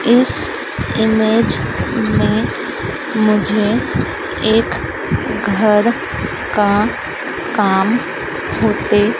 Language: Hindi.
इस इमेज में मुझे एक घर का काम होते--